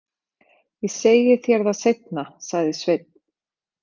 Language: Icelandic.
Ég segi þér það seinna, sagði Sveinn.